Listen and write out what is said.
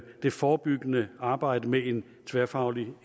det forebyggende arbejde med en tværfaglig